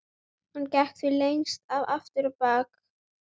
Hann gekk því lengst af aftur á bak.